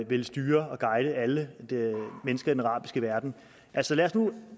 vil styre og guide alle mennesker i den arabiske verden altså lad os nu